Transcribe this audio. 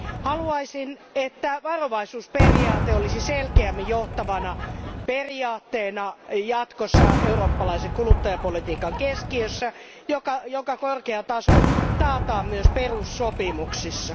Haluaisin, että varovaisuusperiaate olisi selkeämmin johtavana periaatteena jatkossa eurooppalaisen kuluttajapolitiikan keskiössä, jonka korkea taso taataan myös perussopimuksissa.